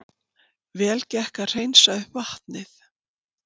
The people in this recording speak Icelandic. Vel gekk að hreinsa upp vatnið